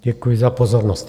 Děkuji za pozornost.